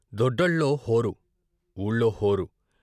డొడ్డల్లో హోరు, ఊళ్ళో హోరు.